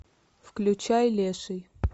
включай леший